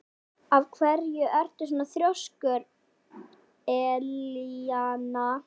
Af hverju ertu svona þrjóskur, Elíana?